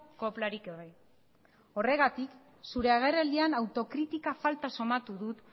koplarik gabe horregatik zure agerraldian autokritika falta sumatu dut